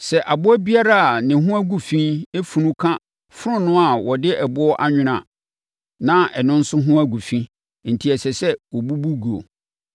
Sɛ aboa biara a ne ho agu fi funu ka fononoo a wɔde ɛboɔ anwono a, na ɛno nso ho agu fi enti ɛsɛ sɛ wɔbubu guo.